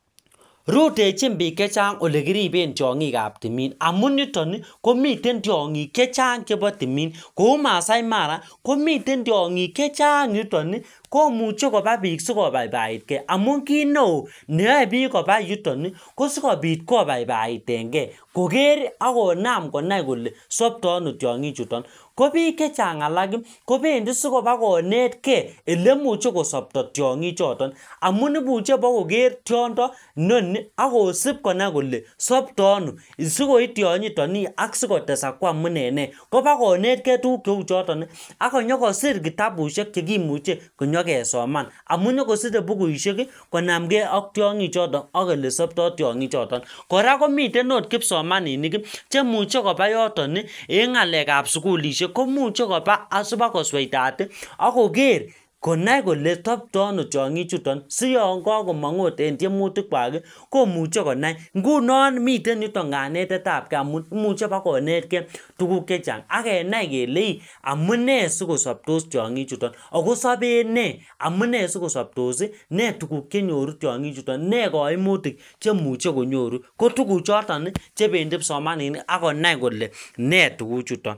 rutechin biik chechang ole kiriben tiongikab timin amun yutoni komiten tiongik chechang chebo timin kou maasai mara komiten tiongik chechang yutoni komuche koba biik sikobaibaitkee amun kitneoo nimeyoe pik kopa yutoni kosikobit kobaibaitenkeekoker akonam konai kole sopto ano tiongi chuton kopiik chechang alak ii kopendi sibakonetkee ele imuche kosobto tiongik choton amun imuche iboker tiondo noni akosip bakonai kole soptoo ano sikooi tionyitoni ak siko tesak koamun ene nee kopakonetkee tuguk cheu chotoni akonyokosir kitabushek chekimuche konyo kesoman amun inyokosire bukusheki konamkee ak tiongi chotoni ak ele sopto tiongi choton kora komiten ot kipsomaninik chemuche koba yotoni en ngalekab sugulishekkomuche kopa asipakosweitati akoker konai kole sopto ano tiongi chuton sionkakomok agot en tiemutik kwak ii komuche konai ngunon miten yuton kanetetab kee amun imuche ibak konet kee tuguk chechang akenai kele ii amunee sikosoptos tiongi chuton akosopenee amunee sikosoptos ii nee tuguk chenyoru tiongi chuton ne koimutik cheimuche konyoru kotuguchoton chebendi kipsomaninik akonai kole nee tuguchuton